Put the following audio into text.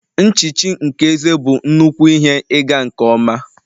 Nchichi nke eze bụ nnukwu ihe ịga nke ọma